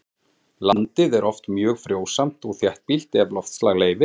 Landið er oft mjög frjósamt og þéttbýlt ef loftslag leyfir.